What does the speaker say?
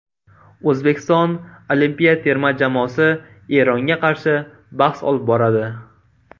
O‘zbekiston olimpiya terma jamoasi Eronga qarshi bahs olib boradi.